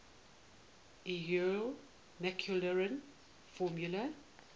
euler maclaurin formula